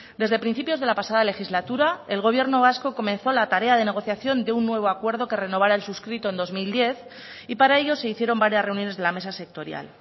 desde principios de la pasada legislatura el gobierno vasco comenzó la tarea de negociación de un nuevo acuerdo que renovara el suscrito en dos mil diez y para ello se hicieron varias reuniones de la mesa sectorial